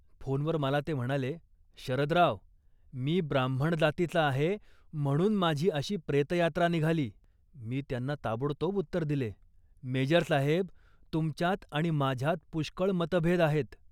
फोनवर मला ते म्हणाले, "शरदराव, मी ब्राह्मण जातीचा आहे, म्हणून माझी अशी प्रेतयात्रा निघाली. " मी त्यांना ताबडतोब उत्तर दिले, "मेजर साहेब, तुमच्यात आणि माझ्यात पुष्कळ मतभेद आहेत